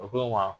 O ko n ma